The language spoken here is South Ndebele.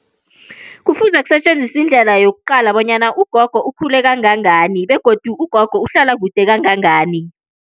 Kufuze kusetjenziswe indlela yokuqala bonyana ugogo ukhule kangangani, begodu ugogo uhlala kude kangangani.